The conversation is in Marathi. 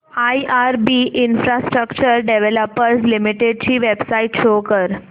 आयआरबी इन्फ्रास्ट्रक्चर डेव्हलपर्स लिमिटेड ची वेबसाइट शो करा